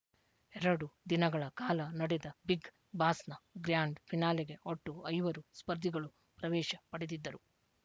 ಎರಡು ದಿನಗಳ ಕಾಲ ನಡೆದ ಬಿಗ್‌ ಬಾಸ್‌ನ ಗ್ರ್ಯಾಂಡ್‌ ಫಿನಾಲೆಗೆ ಒಟ್ಟು ಐವರು ಸ್ಪರ್ಧಿಗಳು ಪ್ರವೇಶ ಪಡೆದಿದ್ದರು